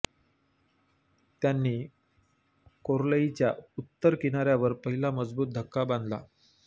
त्यांनी कोर्लईच्या उत्तर किनाऱ्यावर पहिला मजबूत धक्का बांधला